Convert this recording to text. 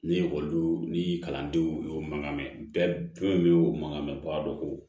Ni ekɔlidenw ni kalandenw y'o mankan mɛn bɛɛ fɛnkɛw mankan mɛ bagan dɔ koo